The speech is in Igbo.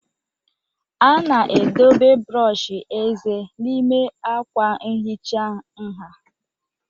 A na-edobe brọsh eze n'ime akwa nhicha nha